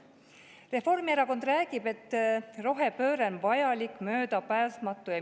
Reformierakond räägib, et rohepööre on vajalik, möödapääsmatu.